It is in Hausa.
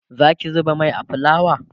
Zaki zuba Mai a fulawa?